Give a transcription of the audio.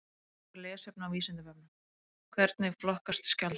Frekara lesefni á Vísindavefnum: Hvernig flokkast skjaldbökur?